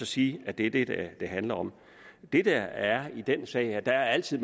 sige at det er det det handler om det der er i den her sag er at der altid